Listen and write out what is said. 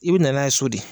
I bɛ na n'a ye so de